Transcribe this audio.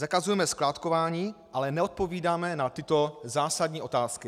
Zakazujeme skládkování, ale neodpovídáme na tyto zásadní otázky.